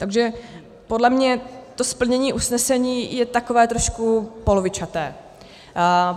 Takže podle mě to splnění usnesení je takové trošku polovičaté.